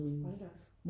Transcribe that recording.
Hold da op